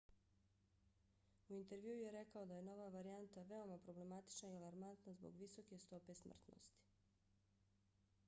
u intervjuu je rekao da je nova varijanta veoma problematična i alarmantna zbog visoke stope smrtnosti.